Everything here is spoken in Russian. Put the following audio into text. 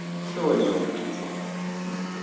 сегодня оно тухло хи-хи